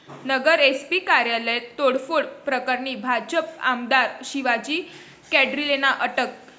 नगर SP कार्यालय तोडफोड प्रकरणी भाजप आमदार शिवाजी कर्डिलेंना अटक